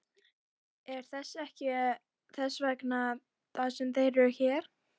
Er það ekki þess vegna sem þeir eru hérna?